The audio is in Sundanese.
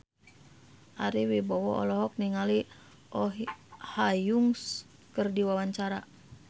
Ari Wibowo olohok ningali Oh Ha Young keur diwawancara